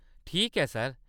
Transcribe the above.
ठीक ऐ, सर।